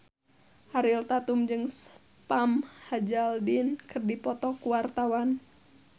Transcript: Ariel Tatum jeung Sam Hazeldine keur dipoto ku wartawan